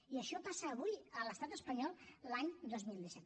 i això passa avui a l’estat espanyol l’any dos mil disset